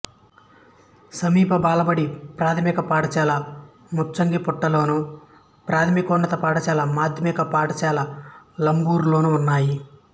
సమీప బాలబడి ప్రాథమిక పాఠశాల ముంచంగిపుట్టులోను ప్రాథమికోన్నత పాఠశాల మాధ్యమిక పాఠశాల లబ్బూరులోనూ ఉన్నాయి